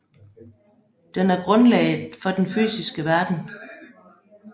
Den er grundlaget for den fysiske verden